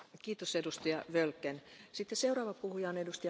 Frau Präsidentin, Herr Kommissar, liebe Kolleginnen und Kollegen!